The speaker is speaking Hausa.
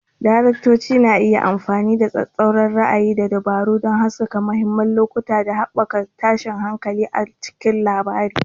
Daraktoci na iya amfani da tsattsauran ra'ayi da dabaru don haskaka mahimman lokuta ko haɓaka tashin hankali a cikin labari.